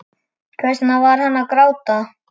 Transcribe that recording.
Hvers vegna er hann að gráta?